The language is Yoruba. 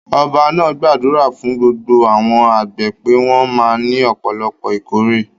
Ọba náà gbàdúrà fún gbogbo àwọn àgbẹ̀ pé wọ́n máa ní ọ̀pọ̀lọpọ̀ ìkórè.